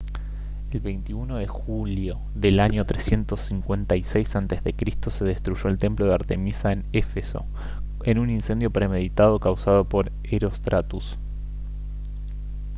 el 21 de julio del año 356 a c se destruyó el templo de artemisa en éfeso en un incendio premeditado causado por herostratus